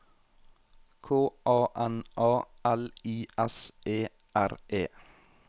K A N A L I S E R E